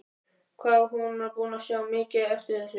Hvað hún var búin að sjá mikið eftir þessu!